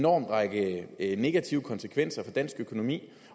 række negative konsekvenser for dansk økonomi